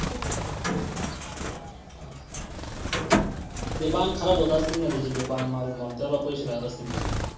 ते बाण खराब होत असतील ना त्याचे ते बाण मारून मारून त्याला पैसे लागत असतील परत.